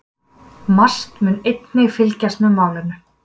MAST mun einnig fylgjast með málinu